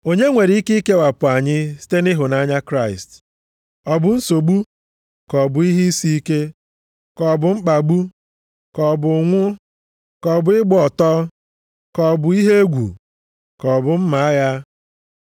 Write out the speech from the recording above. Onye nwere ike ikewapụ anyị site nʼịhụnanya Kraịst? Ọ bụ nsogbu, ka ọ bụ ihe isi ike, ka ọ bụ mkpagbu. Ka ọ bụ ụnwụ, ka ọ bụ ịgba ọtọ, ka ọ bụ ihe egwu, ka ọ bụ mma agha?